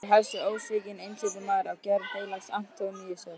Þar hefst við ósvikinn einsetumaður af gerð heilags Antóníusar.